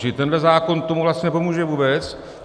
Čili tenhle zákon tomu vlastně nepomůže vůbec.